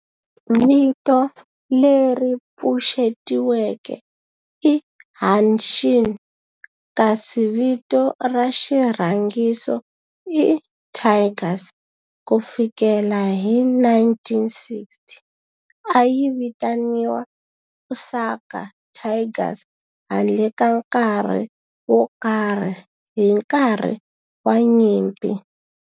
Vito leri pfuxetiweke i"Hanshin" kasi vito ra xirhangiso i"Tigers". Ku fikela hi 1960, a yi vitaniwa Osaka Tigers handle ka nkarhi wo karhi hi nkarhi wa nyimpi.